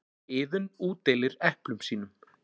Iðunn útdeilir eplum sínum.